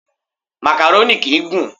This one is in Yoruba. Màkàrónì kìí gùn.